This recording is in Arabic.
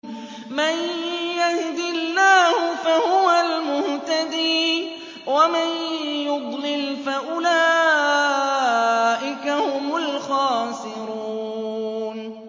مَن يَهْدِ اللَّهُ فَهُوَ الْمُهْتَدِي ۖ وَمَن يُضْلِلْ فَأُولَٰئِكَ هُمُ الْخَاسِرُونَ